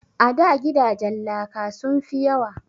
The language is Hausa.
A da gidajen laka sun fi yawa